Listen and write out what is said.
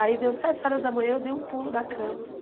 Aí, deu sete horas da manhã, eu dei um pulo da cama.